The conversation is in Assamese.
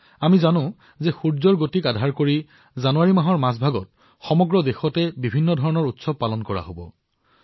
আমি সকলোৱে জানো যে সূৰ্যৰ গতিৰ আধাৰত জানুৱাৰীৰ মাজৰ সময়ছোৱা সমগ্ৰ ভাৰতত বিভিন্ন উৎসৱ পালন কৰা হব